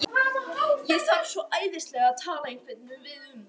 Ég þarf svo æðislega að tala við einhvern um það.